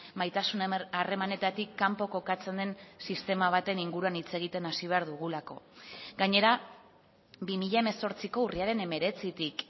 maitasuna harremanetatik kanpo kokatzen den sistema baten inguruan hitz egiten hasi behar dugulako gainera bi mila hemezortziko urriaren hemeretzitik